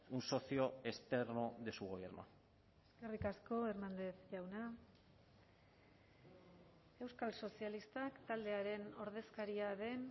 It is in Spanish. un socio externo de su gobierno eskerrik asko hernández jauna euskal sozialistak taldearen ordezkaria den